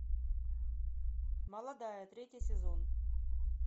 молодая третий сезон